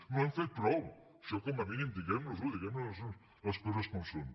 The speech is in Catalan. no hi hem fet prou això com a mínim diguemnosho diguem les coses com són